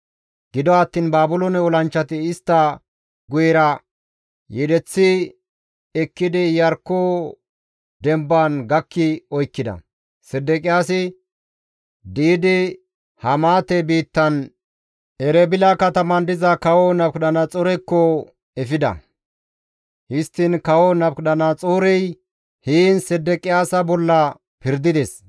Gido attiin Baabiloone olanchchati istta guyera yedeththi ekkidi Iyarkko demban gakki oykkida; Sedeqiyaasi di7idi Hamaate biittan Erebila kataman diza Kawo Nabukadanaxoorekko efida; histtiin Kawo Nabukadanaxoorey heen Sedeqiyaasa bolla pirdides.